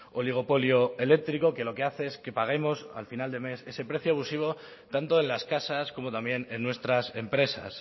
oligopolio eléctrico que lo que hace es que paguemos al final de mes ese precio abusivo tanto en las casas como también en nuestras empresas